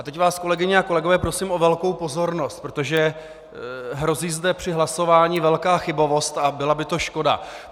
A teď vás, kolegyně a kolegové, prosím o velkou pozornost, protože hrozí zde při hlasování velká chybovost a byla by to škoda.